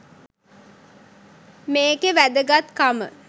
මේකෙ වැදගත්කම